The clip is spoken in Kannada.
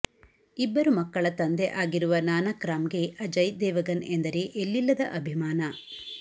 ಇಬ್ಬರು ಮಕ್ಕಳ ತಂದೆ ಆಗಿರುವ ನಾನಕ್ರಾಮ್ಗೆ ಅಜಯ್ ದೇವಗನ್ ಎಂದರೆ ಎಲ್ಲಿಲ್ಲದ ಅಭಿಮಾನ